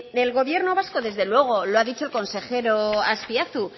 el gobierno vasco desde luego lo ha dicho el consejero azpiazu